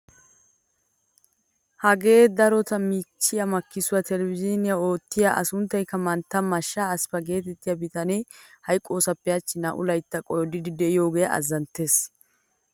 Hagee darotoo miichchiyaa makkisuwaa televizhinyaan oottiyyaa a sunttayikka mantta mashasha asffaa getettiyaa bitanee hayqqosappe hachchi naa"u layttaa qoodiidi de'iyogee azanttees!